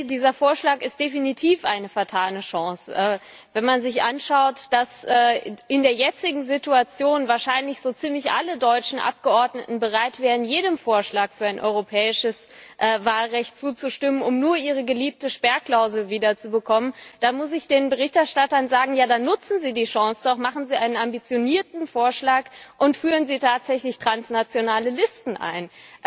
Ich denke, dieser Vorschlag ist definitiv eine vertane Chance. Wenn man sich anschaut, dass er in der jetzigen Situation wahrscheinlich so ziemlich alle deutschen Abgeordneten bereit wären, jedem Vorschlag für ein europäisches Wahlrecht zuzustimmen, um nur ihre geliebte Sperrklausel wiederzubekommen, dann muss ich den Berichterstattern sagen Ja dann nutzen Sie die Chance doch, machen Sie einen ambitionierten Vorschlag und führen Sie tatsächlich transnationale Listen ein!